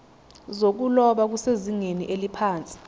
zokuloba kusezingeni eliphansi